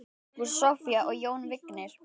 Ágústa, Soffía og Jón Vignir.